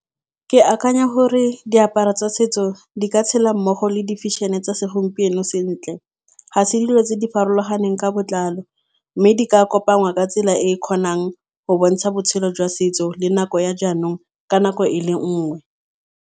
Ke akanya gore diaparo tsa setso di ka tshela mmogo le di feshene tsa segompieno sentle. Ga se dilo tse di farologaneng ka botlalo mme di ka kopangwa ka tsela e e kgonang go bontsha botshelo jwa setso le nako ya jaanong ka nako e le nngwe.